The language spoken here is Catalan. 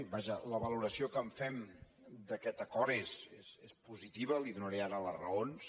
vaja la valoració que fem d’aquest acord és positiva i li donaré ara les raons